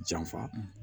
Janfa